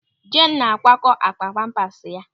Jeenu na-akwakọ akpa pampas ya.